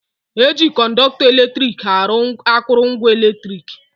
Eji Kọnọktọ eletrik arụ akụrụngwa eletrik